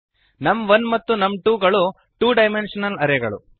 ನಮ್1 ಮತ್ತು ನಮ್2 ಗಳು ಟು ಡೈಮೆಂಶನಲ್ ಅರೇ ಗಳು